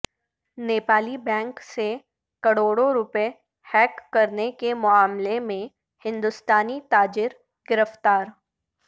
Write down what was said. Nepali bank سے کروڑوں روپے ہیک کرنے کے معاملے میں ہندوستانی تاجر گرفتار